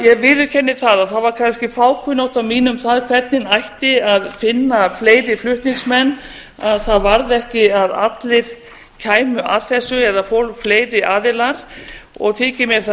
ég viðurkenni það að það var kannski fákunnátta mín um það hvernig ætti að finna fleiri flutningsmenn að það varð ekki að allir kæmu að þessu eða fleiri aðilar og þykir mér það